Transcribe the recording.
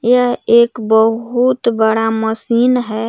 यह एक बहुत बड़ा मशीन है.